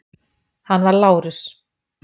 Hann var Lárus